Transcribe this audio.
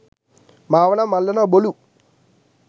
මාව නම් අල්ලනවා බොලු.